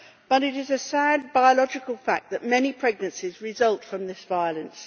But it is a sad biological fact that many pregnancies result from this violence.